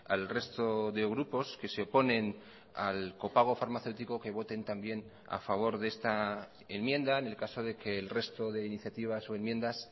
al resto de grupos que se oponen al copago farmacéutico que voten también a favor de esta enmienda en el caso de que el resto de iniciativas o enmiendas